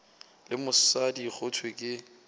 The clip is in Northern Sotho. le mosadi go thwe ke